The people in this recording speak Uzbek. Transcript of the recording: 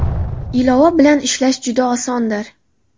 Ilova bilan ishlash juda osondir.